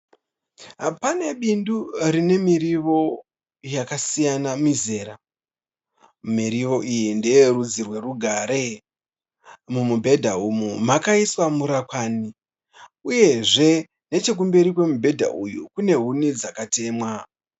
Pane bindu rinemiriwo yakasiyana mizera. Miriwo iyi ndeyerudzi rwerugare. Mumubhedha uyu makaiswa murakwani. Uyezve nechekumberi kwemibhedha uyu kunehuni dzakatemwa.